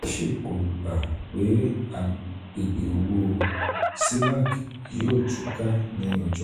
fitch kò gbà pé àgbègbè owó cemac cemac yóò tú ká ní ọjọ́ iwájú.